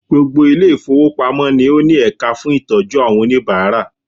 Gbogbo Ilé ìfowópamọ́ ni ó ní ẹ̀ka fún ìtọ́jú àwọn oníbàárà